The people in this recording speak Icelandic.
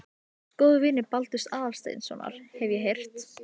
FIMM MISMUNANDI VIÐHORF TIL SAMKYNHNEIGÐAR INNAN KRISTINNAR SIÐFRÆÐI